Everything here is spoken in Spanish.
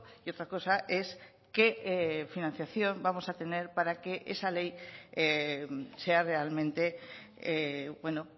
y otra cosa es qué financiación vamos a tener para que esa ley sea realmente bueno